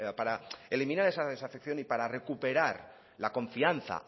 para eliminar esa desafección y para recuperar la confianza